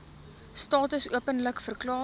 status openlik verklaar